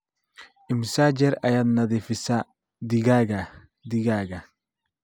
immisa jeer ayaad nadiifisaa digaaga digaaga